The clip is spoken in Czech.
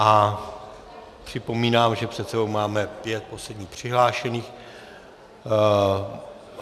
A připomínám, že před sebou máme pět posledních přihlášených.